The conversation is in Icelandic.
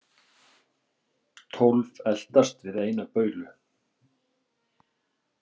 Tólf eltast við eina baulu.